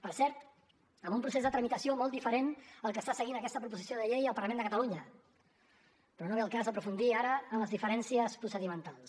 per cert amb un procés de tramitació molt diferent al que està seguint aquesta proposició de llei al parlament de catalunya però no ve al cas aprofundir ara en les diferències procedimentals